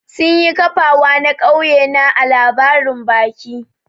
Sun yi kafawa na kauye na ã labarin baki.